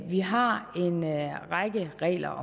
vi har en række regler